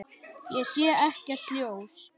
Ég sé ekkert ljós.